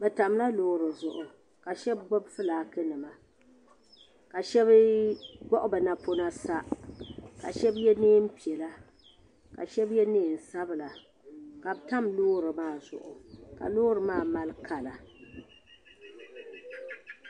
Bi tam la loori zuɣu ka shɛba gbubi fulaaki nima ka shɛba wuɣi bi napɔna sa ka shɛba yɛ niɛn piɛlla ka shɛba yɛ niɛn sabila ka tam loori maa zuɣu ka loori maa mali kala.